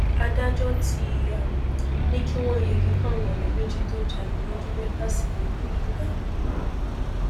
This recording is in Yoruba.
adájọ ti um ní kí wọn yẹgi fáwọn ọrẹ méjì tó jalè lọdún mẹfà sẹyìn um